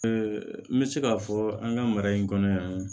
n bɛ se k'a fɔ an ka mara in kɔnɔ yan nɔ